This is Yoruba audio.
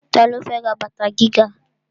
Ta ló fẹ́ ra bàtà gíga?